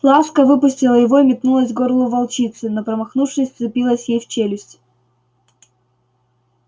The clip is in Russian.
ласка выпустила его и метнулась к горлу волчицы но промахнувшись вцепилась ей в челюсть